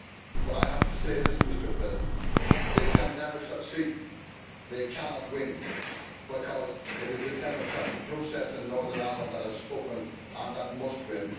But I have to say this they can never succeed they cannot win because it is the democratic process in Northern Ireland that has spoken, and that must win.